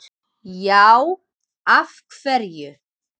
Já, af hverju?